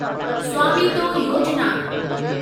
स्वामीतो योजिना